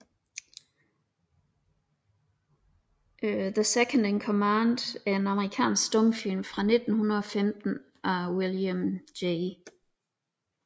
The Second in Command er en amerikansk stumfilm fra 1915 af William J